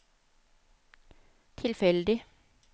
tilfeldig